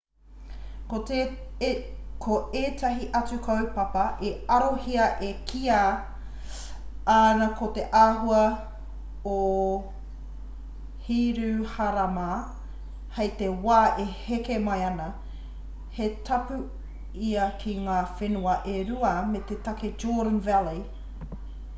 ko ētahi atu kaupapa i arohia e kīia ana ko te āhua o hiruharama hei te wā e heke mai ana he tapu ia ki ngā whenua e rua me te take jordan valley